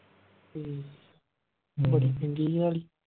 ਹਮ ਬੜੀ ਮਹਿੰਗੀ ਆ